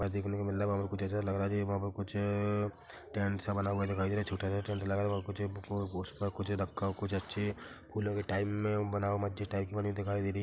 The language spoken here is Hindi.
देखने को मिल रहा वहाँ पर कुछ ऐसा लग रहा है कुछ टेंट- सा बना हुआ दिखाई दे रहा है छोटा सा टेंट लगा हुआ कुछ कुछ रखा हुआ कुछ अच्छे फूलों के टाइम में बना हुआ कुछ दिखाई दे रही--